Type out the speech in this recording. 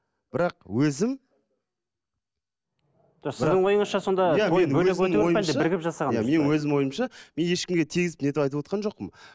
бірақ өзім менің өзім ойымша мен ешкімге тигізіп нетіп айтывотқан жоқпын